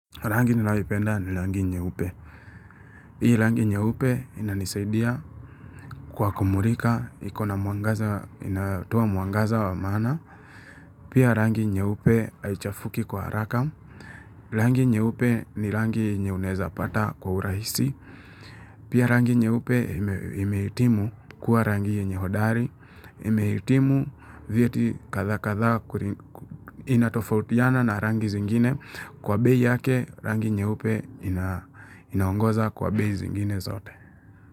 Rangi ninayoipenda ni rangi nyeupe. Hii rangi nyeupe inanisaidia kwa kumulika, ikona mwangaza, inatoa mwangaza wa maana. Pia rangi nyeupe haichafuki kwa haraka. Rangi nyeupe ni rangi yenye unaweza pata kwa urahisi. Pia rangi nyeupe imehitimu kuwa rangi yenye hodari. Imehitimu vieti katha-katha inatofautiana na rangi zingine. Kwa bei yake rangi nyeupe inaongoza kwa bei zingine zote.